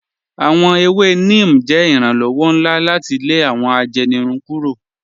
Awọn èwè Neem jẹ iranlọwọ̀ nlá láti lè awọn àjẹ́nìrùn kúrò.